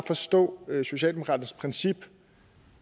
forstå det socialdemokratiske princip